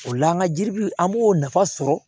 O la an ka jiribu an b'o nafa sɔrɔ